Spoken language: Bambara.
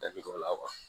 Dabi don o la